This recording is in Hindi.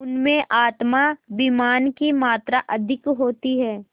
उनमें आत्माभिमान की मात्रा अधिक होती है